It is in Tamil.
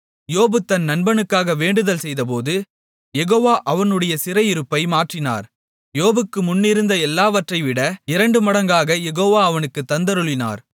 யோபு தன் நண்பனுக்காக வேண்டுதல் செய்தபோது யெகோவா அவனுடைய சிறையிருப்பை மாற்றினார் யோபுக்கு முன் இருந்த எல்லாவற்றைவிட இரண்டுமடங்காகக் யெகோவா அவனுக்குத் தந்தருளினார்